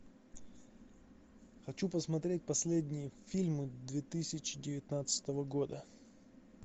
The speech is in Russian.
хочу посмотреть последние фильмы две тысячи девятнадцатого года